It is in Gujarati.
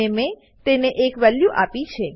અને મેં તેને એક વેલ્યુ આપી છે